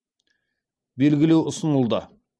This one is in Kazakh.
белгілеу ұсынылды